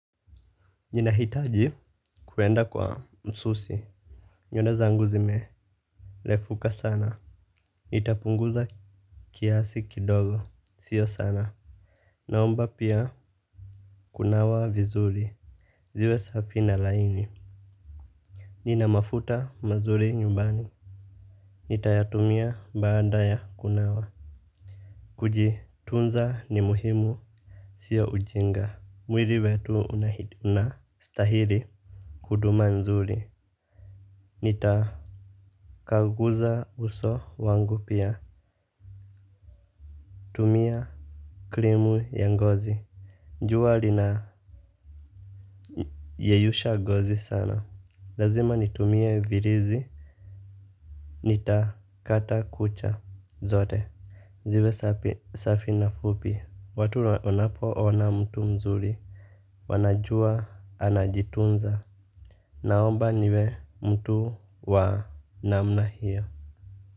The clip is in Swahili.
Ninahitaji kwenda kwa msusi, nywele zangu zimerefuka sana. Nitapunguza kiasi kidogo sio sana. Naomba pia kunawa vizuri. Ziwe safi na laini. Ninamafuta mazuri nyumbani, nitayatumia baada ya kunawa. Kujitunza ni muhimu. Sio ujinga. Mwili wetu unastahili huduma nzuri. Nitaa Kaguza uso wangu pia. Tumia krimu ya ngozi jua linayeyusha ngozi sana. Lazima nitumie virizi. Nitakata kucha zote. Ziwe safi na fupi. Watu wanapo ona mtu mzuri wanajua anajitunza. Naomba niwe mtu wa namna hiyo.